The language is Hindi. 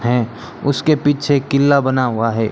हैं उसके पीछे एक किला बना हुआ है।